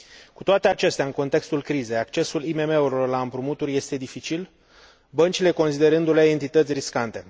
Cu toate acestea, în contextul crizei, accesul IMM urilor la împrumuturi este dificil, băncile considerându le entități riscante.